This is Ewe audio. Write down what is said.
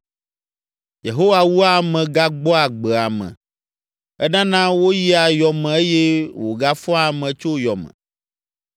“Yehowa wua ame gagbɔa agbe ame; enana woyia yɔ me eye wògafɔa ame tso yɔ me.